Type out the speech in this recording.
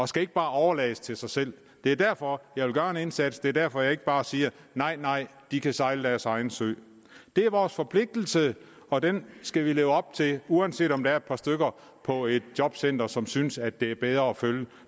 skal ikke bare overlades til sig selv det er derfor jeg vil gøre en indsats og det er derfor jeg ikke bare siger nej nej de kan sejle deres egen sø det er vores forpligtelse og den skal vi leve op til uanset om der er et par stykker på et jobcenter som synes at det er bedre at følge